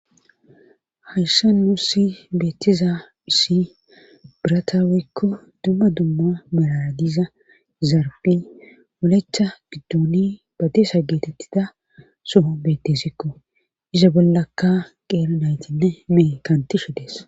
Hayssa nuu si beettiza dhusi birataawekko dumma dumma malaadiza zarpi molecha gidduni batesa geetettida soho bettesikko iza bollakka qeera naytinne meee kantishe dees